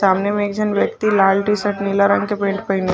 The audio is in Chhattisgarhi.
सामने में एक झन व्यक्ति लाल टी-शर्ट नीला रंग के पैंट पहने--